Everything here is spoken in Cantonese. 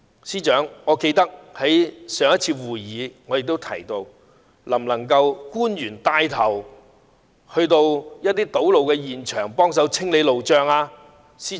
司長，我記得我在上次會議中問到，官員能否帶頭到堵路現場幫忙清理路障。